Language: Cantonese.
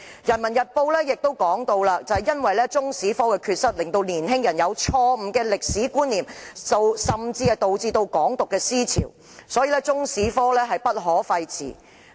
《人民日報》亦指出，中史科的缺失令年輕人有錯誤的歷史觀念，甚至導致"港獨"思潮，因此中史科不可廢弛。